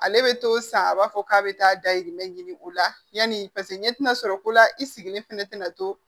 Ale bɛ to san a b'a fɔ k'a bɛ taa dayirimɛ ɲini o la yanni paseke ɲɛ ti na sɔrɔ ko la i sigilen fɛnɛ tɛna to